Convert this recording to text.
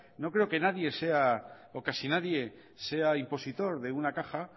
no creo que nadie sea o casi nadie sea impositor de una caja